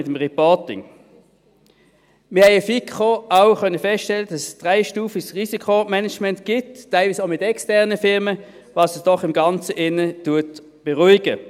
Wir konnten in der FiKo auch feststellen, dass es ein dreistufiges Risikomanagement gibt, teilweise auch mit externen Firmen, was uns in dem Ganzen doch beruhigt.